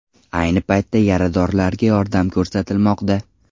Ayni paytda yaradorlarga yordam ko‘rsatilmoqda.